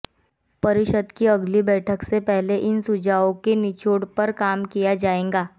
परिषद की अगली बैठक से पहले इन सुझावों के निचोड़ पर काम किया जाएगा